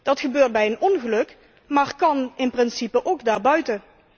Dat gebeurt bij een ongeluk, maar kan in principe ook daarbuiten.